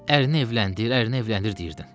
Ərini evləndir, ərini evləndir deyirdin.